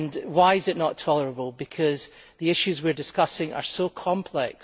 Why is it not tolerable? Because the issues we are discussing are so complex.